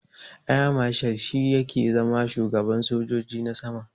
Air marshal shi yake zama shugaban sojoji na sama.